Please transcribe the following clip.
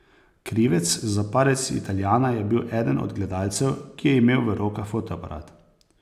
Krivec za padec Italijana je bil eden od gledalcev, ki je imel v rokah fotoaparat.